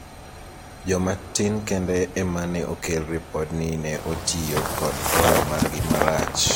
jomatin kende ema ne okel ripod ni ne otiyo kod hola margi marach